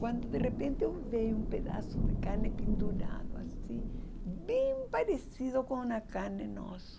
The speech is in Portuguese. Quando de repente eu vi um pedaço de carne pendurado assim, bem parecido com a carne nossa